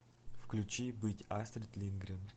включи быть астрид линдгрен